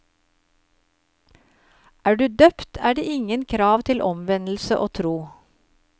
Er du døpt, er det ingen krav til omvendelse og tro.